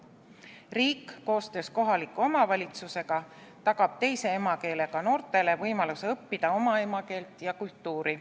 Riik koostöös kohaliku omavalitsusega tagab teise emakeelega noortele võimaluse õppida oma emakeelt ja kultuuri.